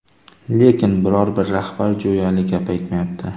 Lekin, biror-bir rahbar jo‘yali gap aytmayapti”.